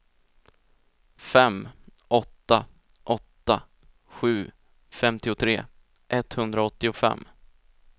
fem åtta åtta sju femtiotre etthundraåttiofem